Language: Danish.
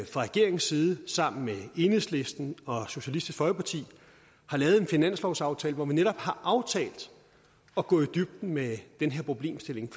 fra regeringens side sammen med enhedslisten og socialistisk folkeparti har lavet en finanslovsaftale hvor man netop har aftalt at gå i dybden med den her problemstilling